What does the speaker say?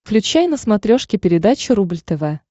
включай на смотрешке передачу рубль тв